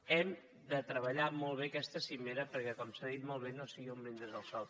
hem de treballar molt bé aquesta cimera perquè com s’ha dit molt bé no sigui un brindis al sol